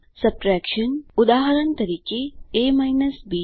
subtraction ઉદાહરણ તરીકે a બી